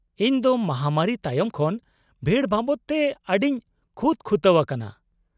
-ᱤᱧ ᱫᱚ ᱢᱟᱦᱟᱢᱟᱹᱨᱤ ᱛᱟᱭᱚᱢ ᱠᱷᱚᱱ ᱵᱷᱤᱲ ᱵᱟᱵᱚᱫ ᱛᱮ ᱟᱹᱰᱤᱧ ᱠᱷᱩᱛ ᱠᱷᱩᱛᱟᱹᱣ ᱟᱠᱟᱱᱟ ᱾